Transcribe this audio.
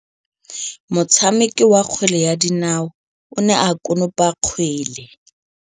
Motshameki wa kgwele ya dinaô o ne a konopa kgwele.